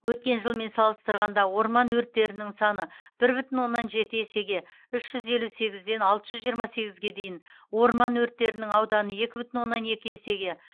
өткен жылмен салыстырғанда орман өрттерінің саны бір бүтін оннан жеті есеге үш жүз елу сегізден алты жүз жиырма сегізге дейін орман өрттерінің ауданы екі бүтін оннан екі есеге